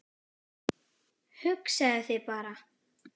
Hugsaðu þér bara!